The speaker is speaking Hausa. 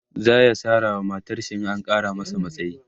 zaya Sara wa matarshi in an Kara masa matsayi